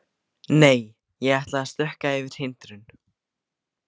Nei, ég ætla að stökkva yfir hindrun.